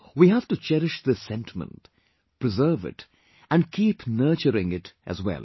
We have to cherish this sentiment...preserve it and keep nurturing it as well